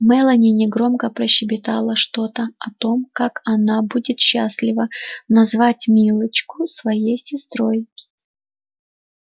мелани негромко прощебетала что-то о том как она будет счастлива назвать милочку своей сестрой